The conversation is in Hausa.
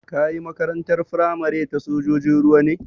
Ka yi Makarantar firamare ta sojojin ruwa ne?